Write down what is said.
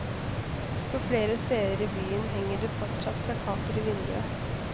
På flere steder i byen henger det fortsatt plakater i vinduet.